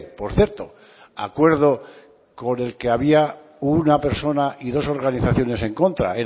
por cierto acuerdo con el que había una persona y dos organizaciones en contra